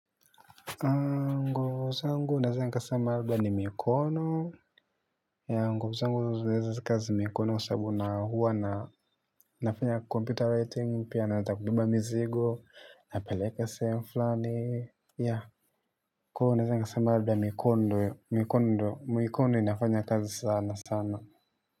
Nguvu zangu naweza nikasema labda ni mikono nguvu zangu unazia kazi mikono sababu na huwa na nafanya computer writing pia naweza kubeba mizigo napeleka sehemu fulani yeah. Kuwa naeza nikasema labda mikono ndo mikono inafanya kazi sanasana.